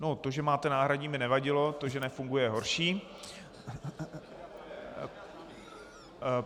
No, to, že máte náhradní, by nevadilo, to, že nefunguje, je horší.